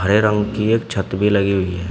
हरे रंग की एक छत भी लगी हुई है।